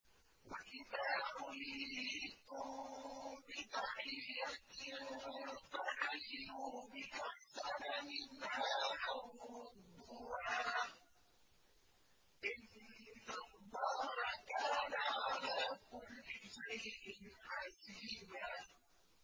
وَإِذَا حُيِّيتُم بِتَحِيَّةٍ فَحَيُّوا بِأَحْسَنَ مِنْهَا أَوْ رُدُّوهَا ۗ إِنَّ اللَّهَ كَانَ عَلَىٰ كُلِّ شَيْءٍ حَسِيبًا